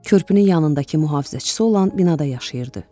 Körpünün yanındakı mühafizəçisi olan binada yaşayırdı.